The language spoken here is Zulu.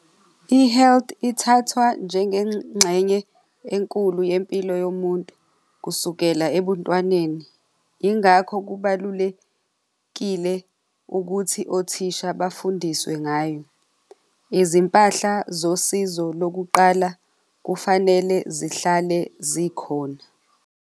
I-health ithathwa njengengxenye enkulu yempilo yomuntu kusukela ebuntwaneni. Yingakho kubalulekile ukuthi othisha bafundiswe ngayo. Izimpahla zosizo lokuqala kufanele zihlale zikhona.